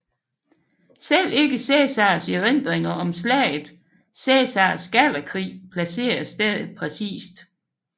Selv ikke Cæsars erindringer om slaget Cæsars Gallerkrig placerer stedet præcist